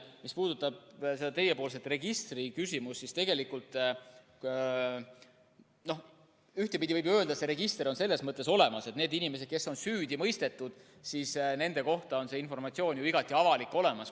Mis puudutab registriküsimust, siis ühtepidi võib ju öelda, et see register on selles mõttes olemas, et nende inimeste kohta, kes on süüdi mõistetud, on see informatsioon, igati avalik, olemas.